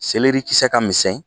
Seleri kisɛ ka misɛn